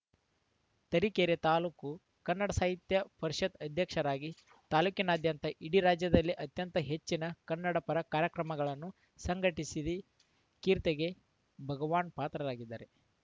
ತರೀಕೆರೆ ತಾಲೂಕು ಕನ್ನಡ ಸಾಹಿತ್ಯ ಪರಿಷತ್‌ ಅಧ್ಯಕ್ಷರಾಗಿ ತಾಲೂಕಿನಾದ್ಯಂತ ಇಡೀ ರಾಜ್ಯದಲ್ಲೇ ಅತ್ಯಂತ ಹೆಚ್ಚಿನ ಕನ್ನಡಪರ ಕಾರ್ಯಕ್ರಮಗಳನ್ನು ಸಂಘಟಿಸಿರಿ ಕೀರ್ತಿಗೆ ಭಗವಾನ್‌ ಪಾತ್ರರಾಗಿದ್ದಾರೆ